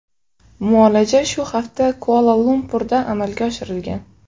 Muolaja shu hafta Kuala-Lumpurda amalga oshirilgan.